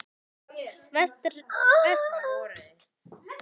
Vestfirði en áður er getið í dagbók flotastjórnarinnar